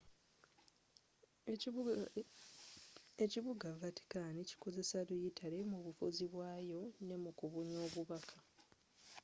ekibuga vaticani kikozesa luyitale mu bufuzi bwayo ne mu kubunya obubaka